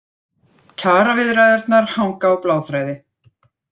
Kjaraviðræðurnar hanga á bláþræði